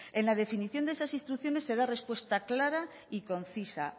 en la definición de esas instrucciones se da respuesta clara y concisa